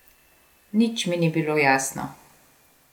Nič mi ni bilo jasno.